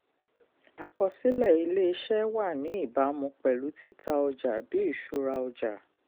àkọsílẹ̀ ilé-iṣẹ́ wà ní ìbámu pẹ̀lú títà ọjà bí ìsúra ọjà.